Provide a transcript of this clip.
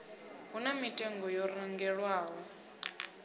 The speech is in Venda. hu na mitengo yo randelwaho